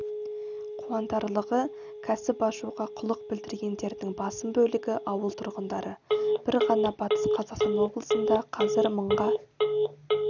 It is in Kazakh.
қуантарлығы кәсіп ашуға құлық білдіргендердің басым бөлігі ауыл тұрғындары бір ғана батыс қазақстан облысында қазір мыңға